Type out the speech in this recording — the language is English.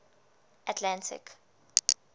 atlantic